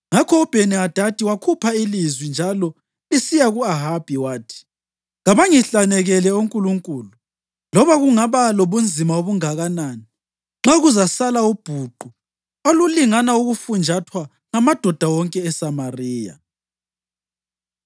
Ngakho uBheni-Hadadi wakhupha ilizwi njalo lisiya ku-Ahabi, wathi: “Kabangihlanekele onkulunkulu, loba kungaba lobunzima obunganani, nxa kuzasala ubhuqu olulingana ukufunjathwa ngamadoda wonke aseSamariya.”